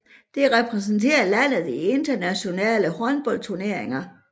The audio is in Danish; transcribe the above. Det repræsenterer landet i internationale håndboldturneringer